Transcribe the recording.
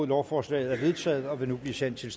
lovforslaget er vedtaget og vil nu blive sendt til